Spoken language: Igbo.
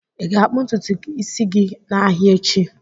Ị ga-akpụ ntutu isi gị n'ahịa echi?